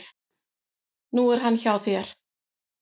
Nú er hann hjá þér.